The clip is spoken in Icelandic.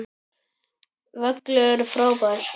Völlur frábær.